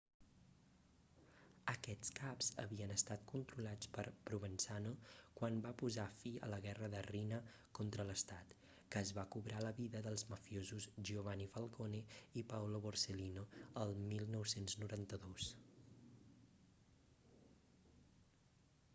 aquests caps havien estat controlats per provenzano quan va posar fi a la guerra de riina contra l'estat que es va cobrar la vida dels mafiosos giovanni falcone i paolo borsellino el 1992